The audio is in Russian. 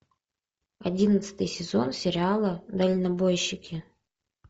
одиннадцатый сезон сериала дальнобойщики